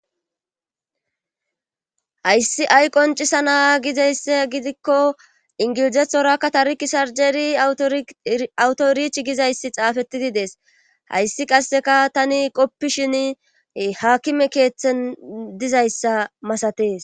hayssi ay qoncisianna gizaysse gidikko ingilizethorakka tari kisarjeri awutorich gizayssi xaafettidi dees hayssi qasseka tani qoppishin haakime keeththen dizayssa masatees